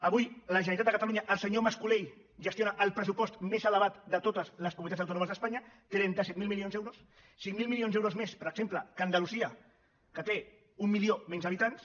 avui la generalitat de catalunya el senyor mas colell gestiona el pressupost més elevat de totes les comunitats autònomes d’espanya trenta set mil milions d’euros cinc mil milions d’euros més per exemple que andalusia que té un milió menys d’habitants